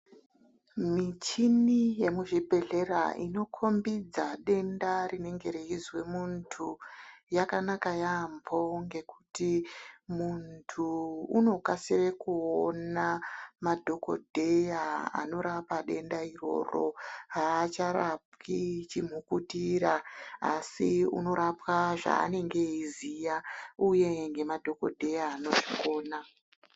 Michini yemuzvibhedhlera inokombidza denda rinenge reyizwa muntu, yakanaka yambo ngekuti muntu unokasira kuona madhokodheya anorapa denda iroro, haacharapwi chimhukutira, asi unorapwa zvaanenge eyiziya, uye ngemadhokodheya anozvikona.